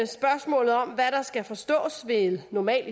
spørgsmålet om hvad der skal forstås ved normal